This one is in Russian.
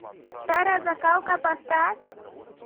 старая закалка поставь